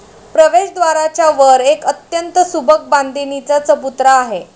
प्रवेशद्वाराच्या वर एक अत्यंत सुबक बांधणीचा चबुतरा आहे.